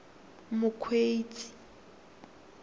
mokgweetsi